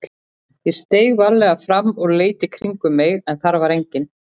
Ég steig varlega fram og leit í kringum mig en þar var enginn.